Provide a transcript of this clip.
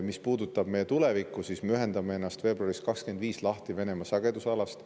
Mis puudutab meie tulevikku, siis me ühendame ennast veebruaris 2025 lahti Venemaa sagedusalast.